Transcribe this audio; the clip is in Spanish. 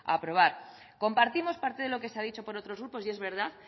aprobar compartimos parte de lo que se ha dicho por otros grupos y es verdad